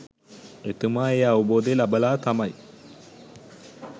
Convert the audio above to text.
එතුමා ඒ අවබෝධය ලබලා තමයි